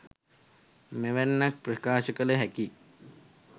මෙවැන්නක් ප්‍රකාශ කළ හැකියි